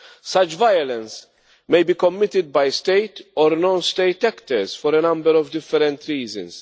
Such violence may be committed by state or non state actors for a number of different reasons.